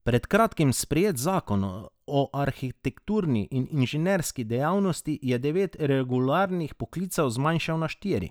Pred kratkim sprejeti zakon o arhitekturni in inženirski dejavnosti je devet reguliranih poklicev zmanjšal na štiri.